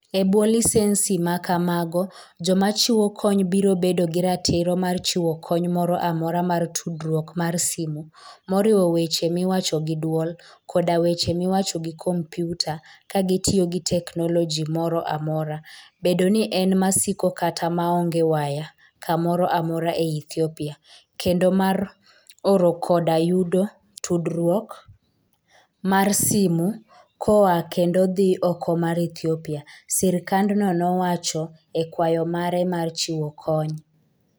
E bwo lisensi ma kamago, joma chiwo kony biro bedo gi ratiro mar chiwo kony moro amora mar tudruok mar simo, moriwo weche miwacho gi dwol, koda weche miwacho gi kompyuta ka gitiyo gi teknoloji moro amora, bed ni en masiko kata maonge waya kamoro amora e Ethiopia, kendo mar oro koda yudo tudruok mar simo koa kendo dhi oko mar Ethiopia, sirkandno nowacho e kwayo mare mar chiwo kony.